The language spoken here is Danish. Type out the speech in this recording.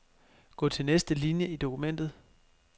Gå til næste linie i dokumentet.